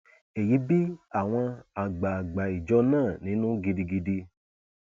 èyí bí àwọn àgbààgbà ìjọ náà nínú gidigidi